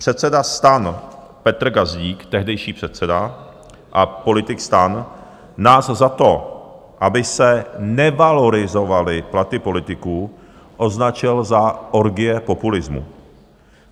Předseda STAN Petr Gazdík, tehdejší předseda a politik STAN, nás za to, aby se nevalorizovaly platy politiků, označil za orgie populismu.